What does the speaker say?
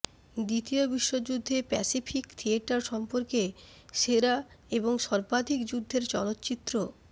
দ্বিতীয় বিশ্বযুদ্ধে Pacific theatre সম্পর্কে সেরা এবং সর্বাধিক যুদ্ধের চলচ্চিত্র